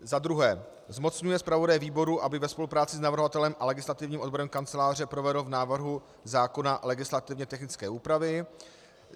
za druhé zmocňuje zpravodaje výboru, aby ve spolupráci s navrhovatelem a legislativním odborem Kanceláře provedl v návrhu zákona legislativně technické úpravy;